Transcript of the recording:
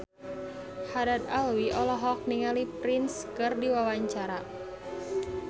Haddad Alwi olohok ningali Prince keur diwawancara